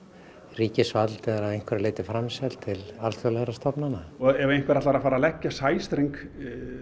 ríkisvaldið er að einhverju leyti framselt til alþjóðlegra stofnana ef einhver ætlar að fara að leggja sæstreng